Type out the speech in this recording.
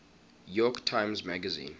york times magazine